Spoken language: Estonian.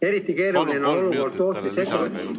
Eriti keeruline on olukord tootmisettevõtetes ...